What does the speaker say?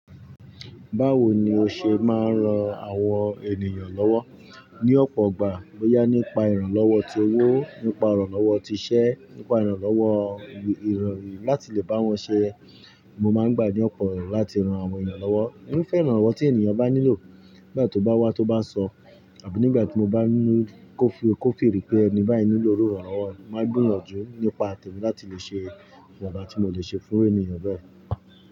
Báwo ni o ṣe máa ń ran àwọn ènìyàn lọ́wọ́? Ni ọ̀pọ̀gbà, boyá nípa ìrànlọ́wọ́ ti owó, nípa ìrànlọ́wọ́ ti iṣẹ́, nípa ìrànlọ́wọ́ ìròyìn láti lè bá wọn ṣé. Mo máa ń gbà ní ọ̀pọ̀ erọ̀ láti ran àwọn èeyàn lọ́wọ́. Èmi fẹ́ ìrànlọ́wọ́ tí ènìyàn bá nílò, nígbà tó bá wá tó bá sọ, àbí nígbà tí mo bá ni kò feel pé ẹni báyìí nílò irú ìrànlọ́wọ́ mi, mo máa gbìyànjú nípa tẹ̀mi láti lè ṣe ìwonba tí mo lè ṣe fún ènìyàn bẹ́ẹ̀